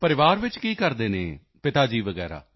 ਪਰਿਵਾਰ ਵਿੱਚ ਕੀ ਕਰਦੇ ਹਨ ਪਿਤਾ ਜੀ ਵਗੈਰਾ